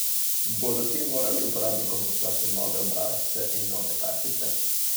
Bodo ti morali uporabnikom poslati nove obrazce in nove kartice?